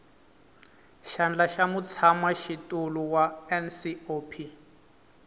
xandla xa mutshamaxitulu wa ncop